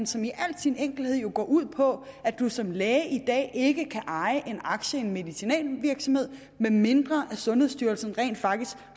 som i al sin enkelhed går ud på at man som læge i dag ikke kan eje en aktie i en medicinalvirksomhed medmindre sundhedsstyrelsen rent faktisk